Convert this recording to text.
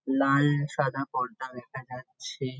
লাল সাদা পর্দা দেখা যাচ্ছে ।